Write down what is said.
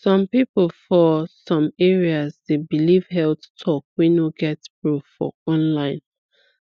some people for some areas dey believe health talk wey no get proof for online